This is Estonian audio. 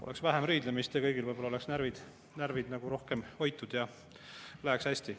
Oleks vähem riidlemist, kõigil oleks närvid rohkem hoitud ja läheks hästi.